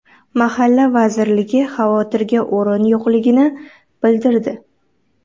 Mahalla vazirligi xavotirga o‘rin yo‘qligini bildirdi.